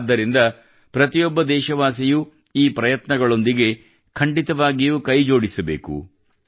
ಆದ್ದರಿಂದ ಪ್ರತಿಯೊಬ್ಬ ದೇಶವಾಸಿಯೂ ಈ ಪ್ರಯತ್ನಗಳೊಂದಿಗೆ ಖಂಡಿತವಾಗಿಯೂ ಕೈಜೋಡಿಸಬೇಕು